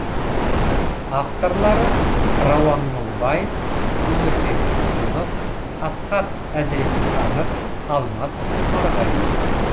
авторлары рауан мыңбаев өмірбек ізімов асхат әзіретханов алмас омарғалиев